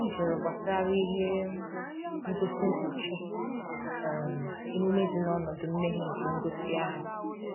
ọ jụrụ gbasara ihe um ngosi nkpuchi um emume dị n'ọnọdụ mmeghe nke ngosi ahụ